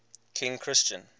king christian